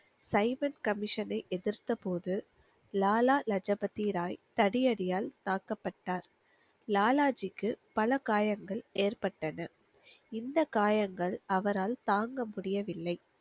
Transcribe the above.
Simon கமிஷனை எதிர்த்த போது லாலா லஜபதி ராய் தடியடியால் தாக்கப்பட்டார் லாலாஜிக்கு பல காயங்கள் ஏற்பட்டன இந்த காயங்கள் அவரால் தாங்க முடியவில்லை